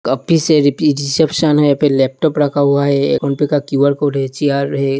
Reception है फिर laptop रखा हुआ है एक फ़ोन-पे का क्यू_र कोड है चेयर है।